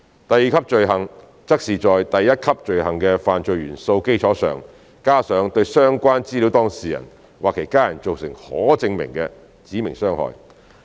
第二級罪行則是在第一級罪行的犯罪元素的基礎上，加上對相關資料當事人或其家人造成可證明的"指明傷害"。